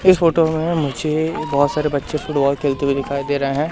इस फोटो में मुझे ए बहोत सारे बच्चे फुटबॉल खेलते हुए दिखाई दे रहे हैं।